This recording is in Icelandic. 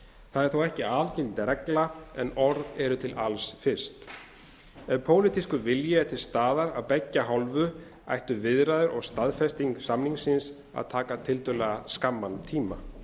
það er þó ekki algild regla en orð eru til alls fyrst ef pólitískur vilji er til staðar af beggja hálfu ættu viðræður og staðfesting samningsins að taka tiltölulega skamman tíma